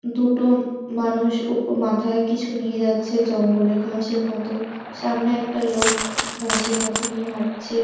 দুটো ম মানুষ উপ মাথায় কিছু নিয়ে যাচ্ছে জঙ্গলে ঘাসের মত সামনে একটা লোক খ ঘাসের মতো নিয়ে হাঁটছে।